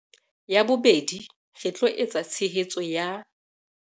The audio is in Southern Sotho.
Ya bobedi, re tlo eketsa tshehetso ya